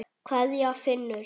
Kveðja, Finnur.